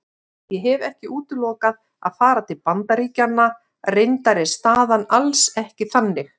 Ég hef ekki útilokað að fara til Bandaríkjanna, reyndar er staðan alls ekki þannig.